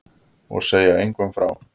Og segja engum frá því.